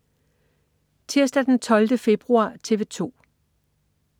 Tirsdag den 12. februar - TV 2: